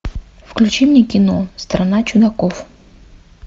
включи мне кино страна чудаков